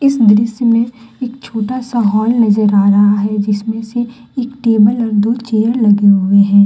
इस दृश्य में एक छोटा सा हॉल नजर आ रहा है जिसमें से एक टेबल और दो चेयर लगे हुए हैं।